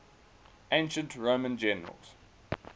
ancient roman generals